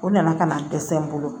O nana kana dɛsɛ n bolo